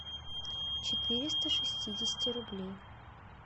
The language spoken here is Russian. четыреста шестидесяти рублей